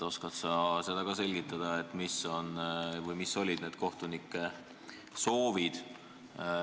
Oskad sa selgitada, mis need kohtunike soovid olid?